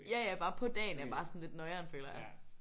Ja ja bare på dagen er bare sådan lidt noieren føler jeg